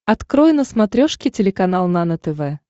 открой на смотрешке телеканал нано тв